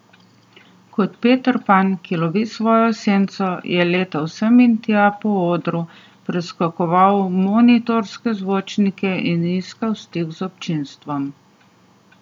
Kot Peter Pan, ki lovi svojo senco, je letal sem in tja po odru, preskakoval monitorske zvočnike in iskal stik z občinstvom.